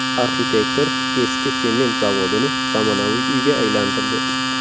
Arxitektor eski sement zavodini zamonaviy uyga aylantirdi .